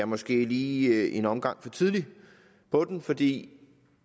måske lige er en omgang for tidligt på den fordi